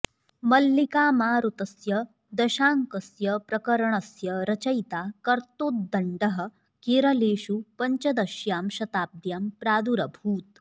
मल्लिकामारुतस्य दशाङ्कस्य प्रकरणस्य रचयिता कर्त्तोद्दण्डः केरलेषु पञ्चदश्यां शताब्द्यां प्रादुरभूत्